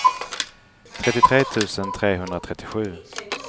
trettiotre tusen trehundratrettiosju